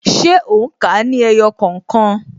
Ṣé o n ka ní ẹyọ kookan?